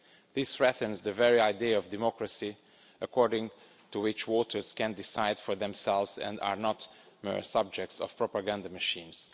This threatens the very idea of democracy, according to which voters can decide for themselves and are not mere subjects of propaganda machines.